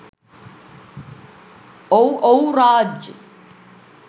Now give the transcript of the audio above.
ඔව් ඔව් රාජ්